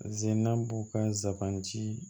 Zenna b'u ka zaan si